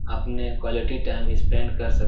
अपने quality time spend कर सक --